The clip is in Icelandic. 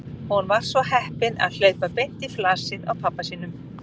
Hún var svo heppin að hlaupa beint í flasið á pabba sínum.